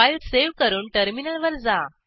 file save करून टर्मिनलवर जा